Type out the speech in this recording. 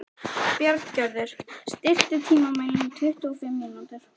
Bjarngerður, stilltu tímamælinn á tuttugu og fimm mínútur.